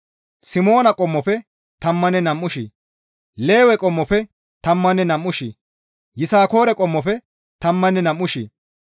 Simoona qommofe tammanne nam7u shii, Lewe qommofe tammanne nam7u shii, Yisakoore qommofe tammanne nam7u shii,